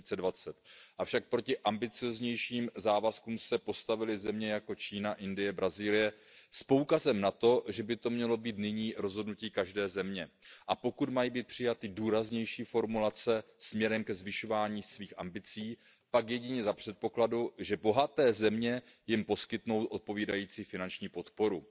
2020. Avšak proti ambicióznějším závazkům se postavily země jako Čína, Indie, Brazílie s poukazem na to, že by to mělo být nyní rozhodnutí každé země a že pokud mají být přijaty důraznější formulace směrem ke zvyšování ambicí, pak jedině za předpokladu, že bohaté země jim poskytnou odpovídající finanční podporu.